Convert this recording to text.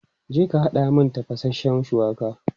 Je ka haɗa min tafashen shuwaka!